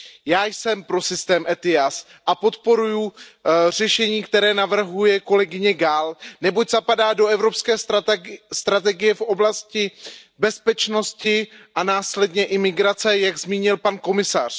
Já jsem pro systém ETIAS a podporuji řešení, které navrhuje kolegyně Gálová, neboť zapadá do evropské strategie v oblasti bezpečnosti a následně i migrace, jak zmínil pan komisař.